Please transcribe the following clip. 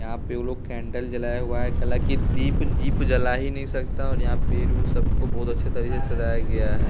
यहाँ पे वो लोग कैंडल जलाया हुआ है दीप दीप जला ही नहीं सकता और यहाँ सबको बहुत अच्छे तरीके से सजाया गया है।